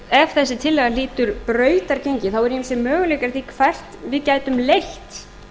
ef þessi tillaga hlýtur brautargengi þá eru ýmsir möguleikar að því hvert við gætum leitt